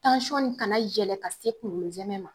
kana yɛlɛ ka se kounkolo nsɛmɛ ma